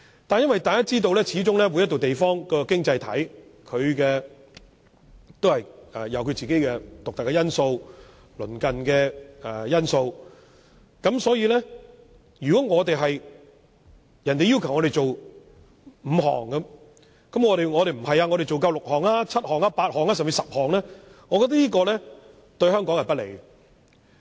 但是，每個經濟體都有其獨特的環境。所以，如果人家要求我們做5項，我們卻做6項、7項、8項，甚至10項，只會對香港不利。